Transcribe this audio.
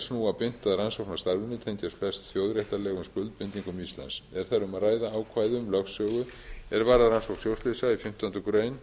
snúa beint að rannsóknarstarfinu tengjast flest þjóðréttarlegum skuldbindingum íslands er þar um að ræða ákvæði um lögsögu er varðar rannsókn sjóslysa í fimmtándu